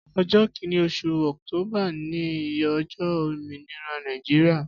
Ọjọ kìní óṣú ọktóbà ni ọjọ ómìnírà Nàijiriá